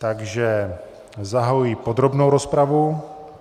Takže zahajuji podrobnou rozpravu.